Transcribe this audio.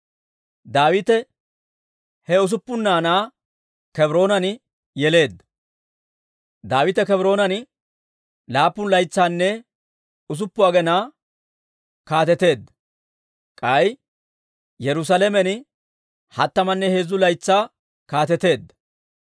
Daawite he usuppun naanaa Kebroonan yeleedda. Daawite Kebroonan laappun laytsanne usuppun aginaa kaateteedda. K'ay Yerusaalamen hattamanne heezzu laytsaa kaateteedda.